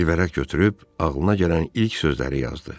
Bir vərəq götürüb ağlına gələn ilk sözləri yazdı.